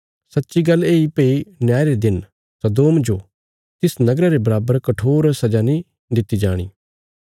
सच्ची गल्ल येई भई न्याय रे दिन सदोम जो तिस नगरा रे बराबर कठोर सजा नीं दित्ति जाणी